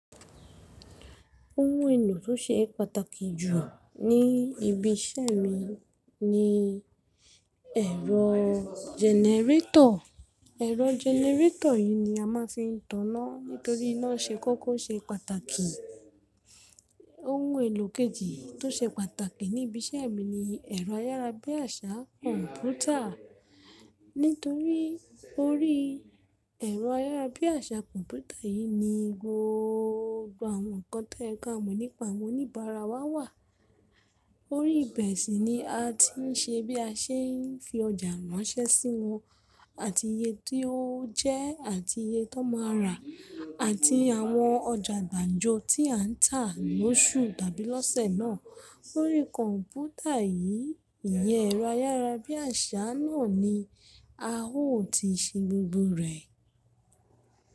Ohun èlò tó ṣe pàtàkì jù ní ibi iṣẹ́ mi ni ẹ̀rọ generator. Ẹ̀rọ generator yìí ni a máa ń fi ń taná nítorí iná ṣe kókó ṣe pàtàkì. Ohun èlò kejì tó ṣe pàtàkì ní ibi iṣẹ́ mi ni ẹ̀rọ ayárabíàṣá kọ̀ǹpútà nítorí orí ẹ̀rọ ayárabíàṣá kọ̀ǹpútà yìí ni gbogbo àwọn nǹkan tó yẹ ka mọ nípa àwọn oníbàárà wa wà. Orí ibẹ̀ sì ni a ti ń ṣe bí a ṣe ń fi ọjà ránṣẹ́ sí wọn àti iye tí ó jẹ́ àti iye tí wọ́n máa rà àti àwọn ọjà gbàǹjo tí à ń tà lóṣù tàbí lọ́sẹ̀ náà. Orí kọ̀ǹpútà yìí, ìyẹn ẹ̀rọ ayárabíàṣá náà ni a ó ti ṣe gbogbo rẹ̀.